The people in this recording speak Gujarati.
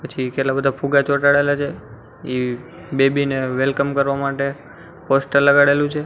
પછી કેટલા બધા ફુવા ચોંટાડેલા છે પછી બેબી ને વેલકમ કરવા માટે પોસ્ટર લગાડેલું છે.